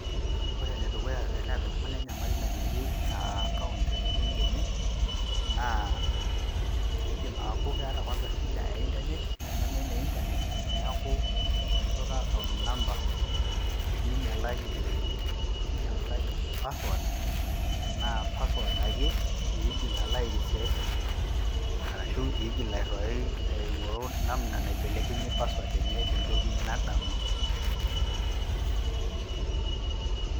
pause more than 2 seconds